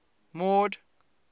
mord